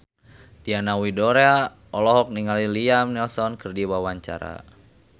Diana Widoera olohok ningali Liam Neeson keur diwawancara